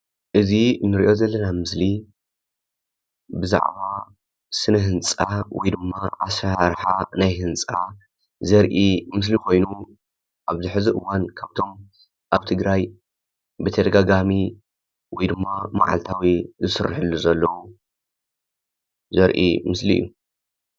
እዚ እንሪኦ ዘለና ምስሊ ብዛዕባ ስነ-ህንፃ ወይ ድማ ኣሰራርሓ ህንፃ ዘርኢ ምስሊ ኮይኑ ኣብዚ ሕዚ እዋን ኻብቶም ኣብ ትግራይ ብተደጋጋሚ ወይ ድማ ማዓልታዊ ዝስረሐሉ ዘሎ ዘርኢ ምስሊ እዩ።